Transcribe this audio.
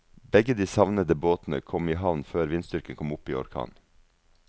Begge de savnede båtene kom i havn før vindstyrken kom opp i orkan.